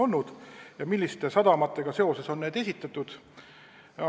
Ta tahtis teada, milliste sadamatega olid need seotud.